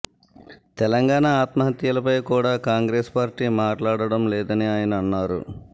తెలంగాణ ఆత్మహత్యలపై కూడా కాంగ్రెసు పార్టీ మాట్లాడడం లేదని ఆయన అన్నారు